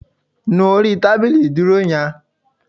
Nu orí tábìlì ìdúró yan